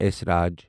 esraj